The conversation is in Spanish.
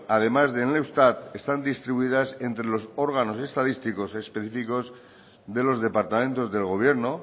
además de en eustat están distribuidas entre los órganos estadísticos específicos de los departamentos del gobierno